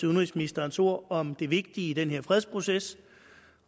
udenrigsministerens ord om det vigtige i den her fredsproces